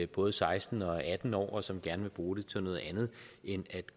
både seksten og atten år og som gerne vil bruge det til noget andet end at